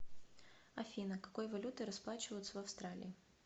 афина какой валютой расплачиваются в австралии